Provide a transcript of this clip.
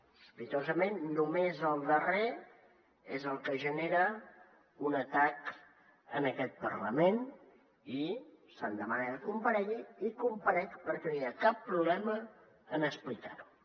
sospitosament només el darrer és el que genera un atac en aquest parlament i se’m demana que comparegui i comparec perquè no hi ha cap problema en explicar ho